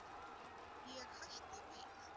Ég hætti við.